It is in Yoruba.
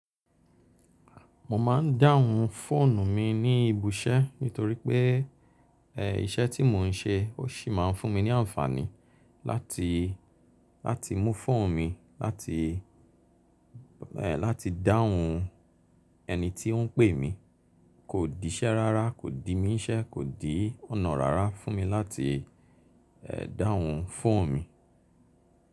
Mo máa ń dáhùn fóònù mi ní ibisẹ́ nítorí pé, ẹ́, iṣẹ́ tí mò ń ṣe ó sì máa ń fún mi ní àǹfààní láti, láti mú fóònù mi láti, ẹ́, láti dáhùn ẹni tí ó ń pè mí. Kò di iṣẹ́ rárá, kò di mí n ṣẹ́, kò di ọ̀nà rárá fún mi láti, ẹ́, dáhùn fóònù mi.